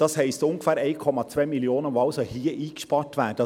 Das entspricht ungefähr einer Einsparung von 1,2 Mio. Franken.